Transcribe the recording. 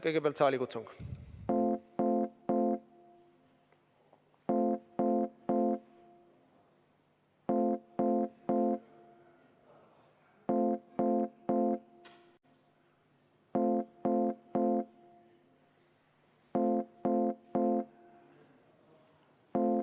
Kõigepealt saalikutsung.